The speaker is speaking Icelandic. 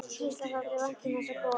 Gísla þótti vænt um þessa borg.